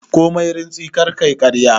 Komai rintsi kar ka yi ƙarya!